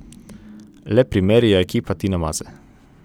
Lep primer je ekipa Tina Maze.